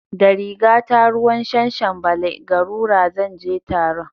Da rigata ruwan shanshanbale (garura) zan je taron